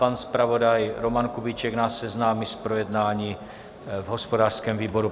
Pan zpravodaj Roman Kubíček nás seznámí s projednáním v hospodářském výboru.